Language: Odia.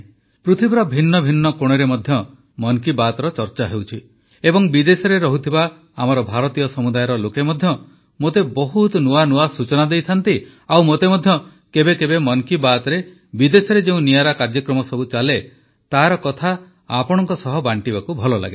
ପୃଥିବୀର ଭିନ୍ନଭିନ୍ନ କୋଣରେ ମଧ୍ୟ ମନ୍ କୀ ବାତ୍ର ଚର୍ଚ୍ଚା ହେଉଛି ଏବଂ ବିଦେଶରେ ରହୁଥିବା ଆମର ଭାରତୀୟ ସମୁଦାୟର ଲୋକେ ମଧ୍ୟ ମୋତେ ବହୁତ ନୂଆ ନୂଆ ସୂଚନା ଦେଇଥାନ୍ତି ଏବଂ ମୋତେ ମଧ୍ୟ କେବେକେବେ ମନ୍ କୀ ବାତ୍ରେ ବିଦେଶରେ ଯେଉଁ ନିଆରା କାର୍ଯ୍ୟକ୍ରମ ସବୁ ଚାଲେ ତାର କଥା ଆପଣଙ୍କ ସହ ବାଣ୍ଟିବାକୁ ଭଲ ଲାଗେ